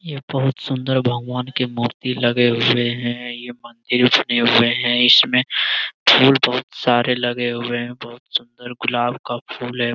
ये बहुत सुन्दर भगवान के मूर्ति लगे हुए है ये मंदिर बने हुए हैं इसमें फूल बहुत सारे लगे हुए हैं बहुत सुंदर गुलाब का फूल है।